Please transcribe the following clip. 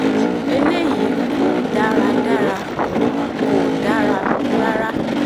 eléyìí kò dára dára o kò dáa rárá